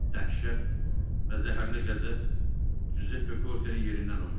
Dəhşət və zəhərli qəzəb Cüzeppe Kortenin yerindən oynatdı.